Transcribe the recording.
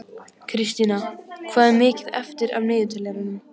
Kristína, hvað er mikið eftir af niðurteljaranum?